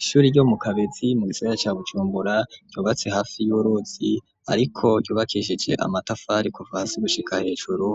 Ishuri ryo mu Kabezi mu gisagara ca Bujumbura ryubatse hafi y'uruzi ariko ryubakishije amatafari kuvasi gushika hejuru